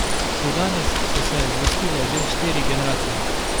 Do danes so se zvrstile že štiri generacije.